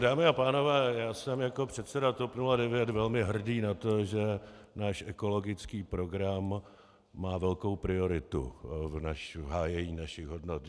Dámy a pánové, já jsem jako předseda TOP 09 velmi hrdý na to, že náš ekologický program má velkou prioritu v hájení našich hodnot.